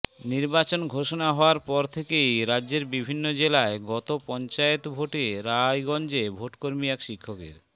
নির্বাচন ঘোষণা হওয়ার পর থেকেই রাজ্যের বিভিন্ন জেলায় গত পঞ্চায়েত ভোটে রায়গঞ্জে ভোটকর্মী এক শিক্ষকের